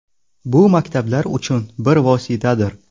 Bu maktablar uchun bir vositadir.